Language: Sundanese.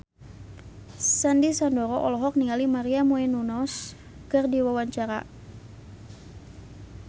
Sandy Sandoro olohok ningali Maria Menounos keur diwawancara